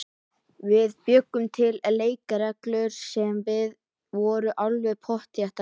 Við bjuggum til leikreglur sem voru alveg pottþéttar.